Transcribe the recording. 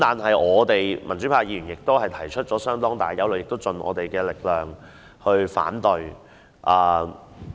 可是，民主派議員則提出相當大的憂慮，亦會竭力反對。